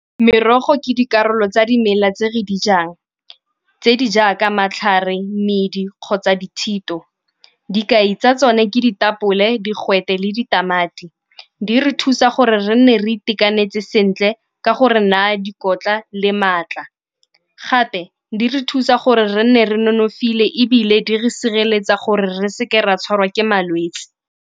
Merogo ke dikarolo tsa dimela tse re di jang tse di jaaka matlhare, medi kgotsa dithito. Dikai tsa tsone ka ditapole, digwete le ditamati di re thusa gore re nne re itekanetse sentle ka gore naya dikotla le maatla. Gape di re thusa gore re nne re nonofile ebile di re sireletsa gore re seke ra tshwarwa ke malwetse.